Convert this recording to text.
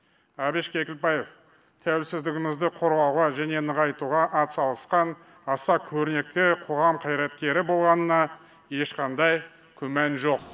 әбіш кекілбаев тәуелсіздігімізді қорғауға және нығайтуға атсалысқан аса көрнекті қоғам қайреткері болғанына ешқандай күмән жоқ